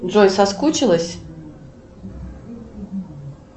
джой соскучилась